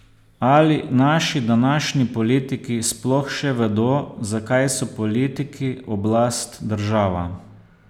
Ali naši današnji politiki sploh še vedo, zakaj so politiki, oblast, država?